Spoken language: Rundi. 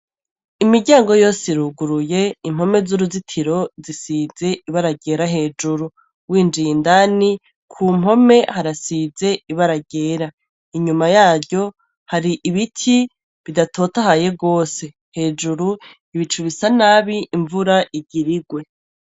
Imiryango yose iruguruye impome z'uruzitiro zisize ibara ryera hejuru w'injiye indani ku mpome harasize ibara ryera inyuma yaryo hari ibiti bidatotahaye gose hejuru ibicu bisa nabi imvura igirigwe.